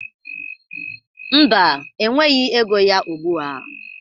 Mba, enweghi ego ya ugbu a.